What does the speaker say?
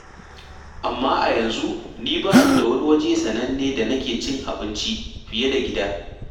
Amma a yanzu ni ba ni da wani waje sananne da nake cin abinci fiye da gida.